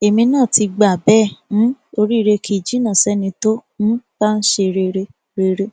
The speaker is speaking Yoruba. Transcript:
èmi náà ti gbà bẹẹ um oríire kì í jìnnà sẹni tó um bá ń ṣe rere rere